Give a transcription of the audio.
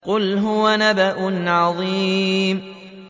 قُلْ هُوَ نَبَأٌ عَظِيمٌ